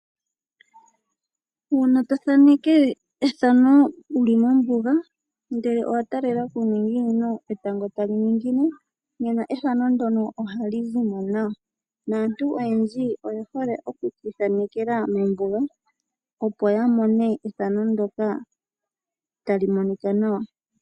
Uuna tothaaneke ethano wuli mombuga, ndele owa taalela kuuninginino pethimbo lyetango tali ningine, nena ethano ndono ohali zimo nawa. Naantu oyendji oyehole okukiithanekela mombuga, opo ya mone ethano ndoka tali monika nawa.